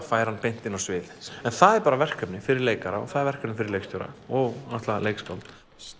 færa hann beint inn á svið en það er bara verkefni fyrir leikara og það er verkefni fyrir leikstjóra og náttúrulega leikskáld